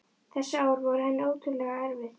Þessi ár voru henni ótrúlega erfið.